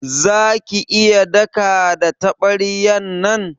Za ki iya daka da tabaryan nan?